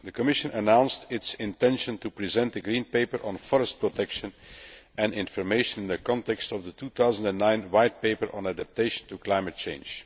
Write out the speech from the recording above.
The Commission announced its intention to present a Green Paper on forest protection and information in the context of the 2009 White Paper on adaptation to climate change.